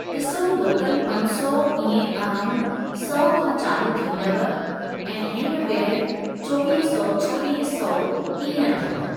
ॾिसो लोकल पंज सौ इएं अराउंड सौ खां चालू थींदव ऐं हिंडवेयर चोवीह सौ छवीह सौ इएं अथव।